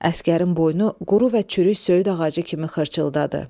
Əsgərin boynu quru və çürük söyüd ağacı kimi xırçıldadı.